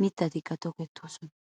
mittatikka tokettoosona.